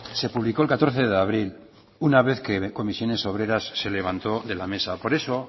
se publicó el catorce de abril una vez que comisiones obreras se levantó de la mesa